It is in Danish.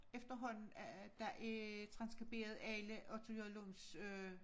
Efterhånden at der er transskriberet alle Otto J Lunds øh